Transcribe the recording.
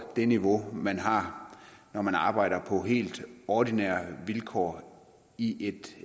det niveau man har når man arbejder på helt ordinære vilkår i et